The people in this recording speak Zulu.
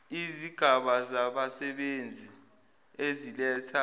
izigaba zabasebenzi eziletha